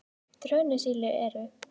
trönusíli eru